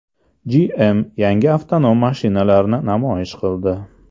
GM yangi avtonom mashinalarni namoyish qildi.